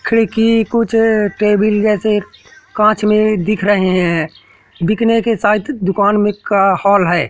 खिड़की कुछ टेबिल जैसे कांच में दिख रहे हैं बिकने के साथ दुकान में एक हॉल है।